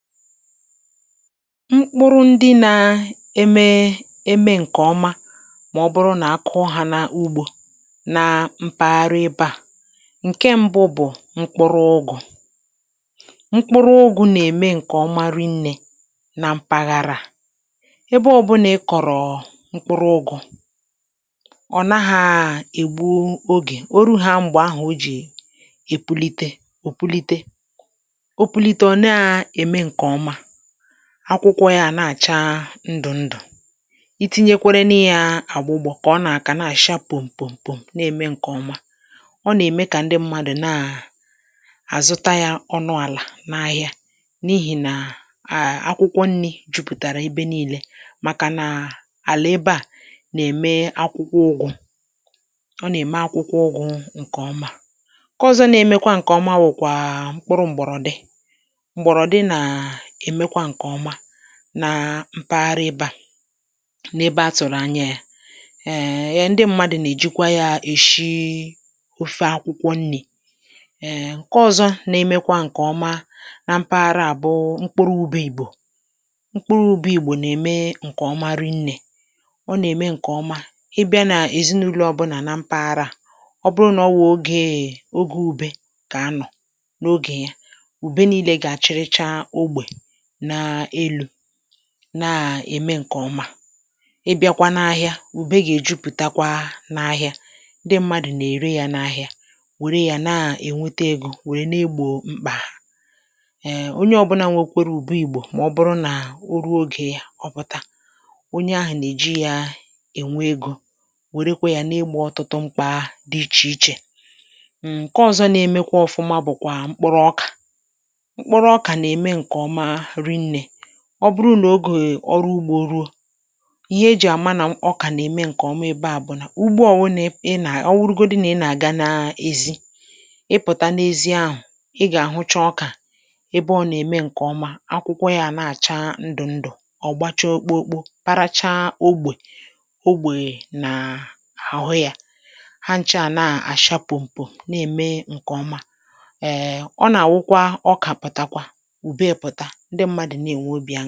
Mkpụrụ ndị nȧ-eme eme ǹkè ọma mà ọbụrụ nà akụ hà n’ugbȯ nà mpaghara ebe à. Nke ṁbụ bụ̀ mkpụrụ ụgụ̇; mkpụrụ ụgụ̇ nà-ème ǹkè ọma ri nnė na mpaghara à. Ebe ọbụna ị kọ̀rọ̀ mkpụrụ ụgụ̇, ọ̀ naghȧ ègbu ogè. Ọ rụ ha m̀gbè ahụ̀ o jì èpulite ò pulite. Ọ pulite ọ nà-ème nkè ọma, akwụkwọ ya à na-àcha ndụ̀ ndụ̀; itinyekwara nụ ya agbụgbo kà ọ nà-àkà na-àcha pom̀pom̀pom na-ème ǹkè ọma. Ọ nà-ème kà ndị mmadụ̀ naà àzụta yȧ ọnụ àlà n’ahịa, n’ihì nà à akwụkwọ nni̇ jupụ̀tàrà ebe nile, màkà nà àlà ebe à nà-ème akwụkwọ ụgụ̇;ọ nà-ème akwụkwọ ụgụ̇ ǹkè ọma. Nkè ọzọ̇ na-emekwa ǹkè ọma wụ̀kwà mkpụrụ m̀gbọ̀rọ̀dị, mgbọ̀rọ̀dị naà emekwa nkè ọma nà mpaghara ebe à, na-ebe atụ̀rụ̀ anya yȧ. um ndị mmadụ̀ nà-èjikwa yȧ èshi ofe akwụkwọ nni̇. um Nke ọzọ na-emekwa ǹkè ọma na mpaghara à bụ mkpụrụ ụbe igbò; mkpụrụ ụbe ìgbò na-eme ǹkèọma ri̇ nnè, ọ nà-eme ǹkèọma. Ị bịa nà èzinụlọ̇ ọbụlà na mpaghara à, ọ bụrụ nà ọ wụ̀ ogee oge ubė kà anọ̀ nà ogè ya; ube nììle ga-achịrịchà ógbè na elù, na-ème ǹkè ọma. Ị bịa kwa n’ahịà, ùbe gà-èjupụ̀takwa n’ahịà. Ndị mmadụ̀ nà-ère ya n’ahịà, wère ya na-ènweta egȯ wère n’egbò mkpà ha.[um] Onye ọ̇bụ̇nȧ nwekwere ùbe ìgbò mà ọ bụrụ nà o ruo ogè ya ọpụta, onye ahụ̀ nà-èji ya ènwe egȯ; wèrekwa yȧ n’egbò ọtụtụ mkpa dị ichè ichè. um Nkè ọzọ̇ na-emekwa ọ̀fụma bụ̀kwà mkpụrụ ọkà, mkpụrụ ọkà na-eme nke ọma rị nne. ọ bụrụ nà ogè ọrụ ugbȯ ruo, ihe ejì àma nà ọkà nà-ème ǹkè ọma ebe à bụ̀ nà; ụgbọ o wụ̇ nà ị nà ọ nwụrụgodi nà ị nà-àga na ezi, ị pụ̀ta n’ezi ahụ̀ ị gà-àhụcha ọkà ebe ọ nà-ème ǹkè ọma, akwụkwọ yȧ a nà-àcha ndụ̀ ndụ̀, ọ̀ gbachaa okpokpo para chaa ogbè; ogbè nàà àhụ yȧ, ha ncha à nà-àcha pụ̀mpụ̀m na-ème ǹkèọma. um ọ nà-àwụkwa ọkà pụ̀takwa, ụbe pụta, ndị mmadụ na-enwe obị aṅụrị.